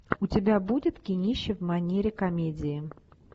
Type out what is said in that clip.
у тебя будет кинище в манере комедии